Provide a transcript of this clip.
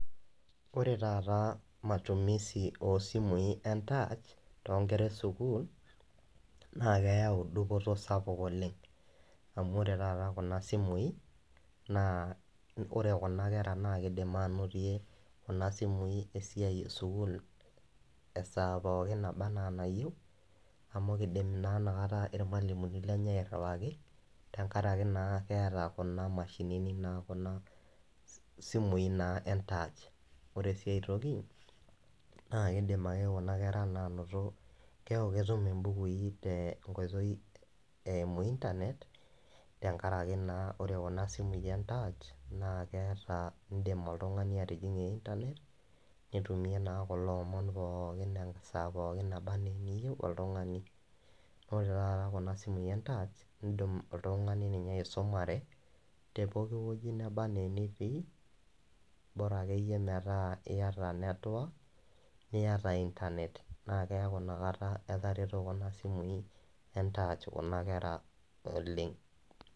Wore taata matumisi oo simui entaach too nkera esukuul, naa keeyau dupoto sapuk oleng'. Amu wore taata kuna simui, naa wore kuna kera naa kiidim ainotie kuna simui esiai esukuul esaa pookin naba enaa enayieu, amu kiidim naa inakata irmalimuni lenye airriwaki, tenkaraki naa keeta kuna mashinini naa kuna simui naa entaach. Wore si aitoki, naa kiidim ake kuna kera naa ainoto, keeku ketum imbukui tenkoitoi eimu internet, tenkaraki naa wore kuna simui entaach, naa keeta iindim oltungani atijingie internet, nitumie naa kulo omon pookin esaa pookin naba ena eniyieu oltungani. Wore taata kuna simui entaach iindim oltungani ninye aisumare teepokin wueji naba enaa enitii, bora akeyie metaa iyata network, niata internet, naa keaku inakata etareto kuna simui entaach kuna kera oleng'.